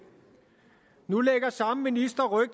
nu lægger samme minister ryg